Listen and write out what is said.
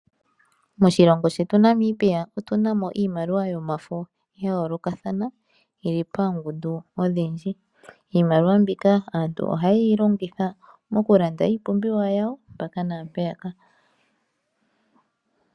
Moshilongo shetu Namibia otu na mo iimaliwa yomafo ya yoolokathana yili poongundu odhindji. Iimaliwa mbika aantu oha ye yi longitha mokulanda iipumbiwa yawo mpaka naampeyaka.